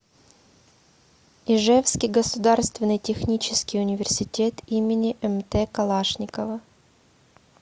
ижевский государственный технический университет им мт калашникова